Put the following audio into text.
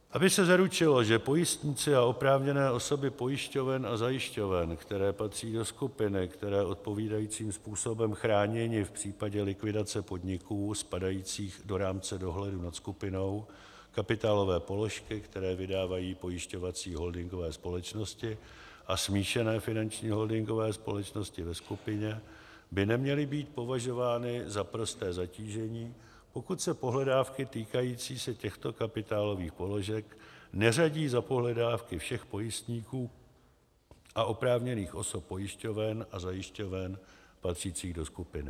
Aby se zaručilo, že pojistníci a oprávněné osoby pojišťoven a zajišťoven, které patří do skupiny, jsou odpovídajícím způsobem chráněni v případě likvidace podniků spadajících do rámce dohledu nad skupinou, kapitálové položky, které vydávají pojišťovací holdingové společnosti a smíšené finanční holdingové společnosti ve skupině, by neměly být považovány za prosté zatížení, pokud se pohledávky týkající se těchto kapitálových položek neřadí za pohledávky všech pojistníků a oprávněných osob pojišťoven a zajišťoven patřících do skupiny.